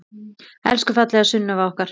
Elsku fallega Sunneva okkar.